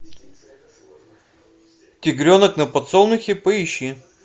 тигренок на подсолнухе поищи